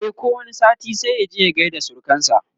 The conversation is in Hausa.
e ko wani sati sai ya je ya gaida surukansa